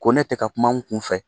Ko ne tɛ ka kuma kun fɛ